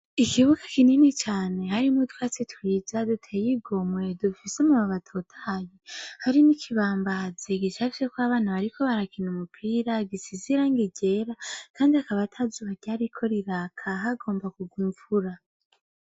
Ikibuga kinini cane harimwo utwatsi twiza duteye igomwe dufise amababi atotahaye harimwo ikibambazi gicafyeko abana bariko barakina umupira gisize irangi ryera kandi akaba atazuba ryariko riraka hagomba kurwa imvura.